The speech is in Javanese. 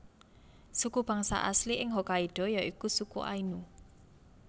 Suku bangsa asli ing Hokkaido ya iku suku Ainu